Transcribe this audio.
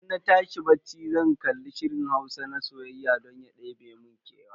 Idan na tashi bacci zan kalli shirin Hausa na soyayya don ya ɗebe mun kewa.